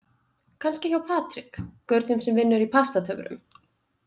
Kannski hjá Patrik, gaurnum sem vinnur í Pastatöfrum.